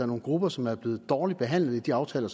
nogle grupper som er blevet dårligt behandlet i de aftaler